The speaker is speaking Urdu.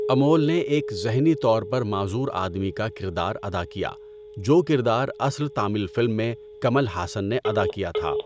امول نے ایک ذہنی طور پر معذور آدمی کا کردار ادا کیا، جو کردار اصل تامل فلم میں کمل ہاسن نے ادا کیا تھا۔